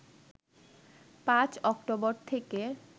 ৫ অক্টোবর থেকে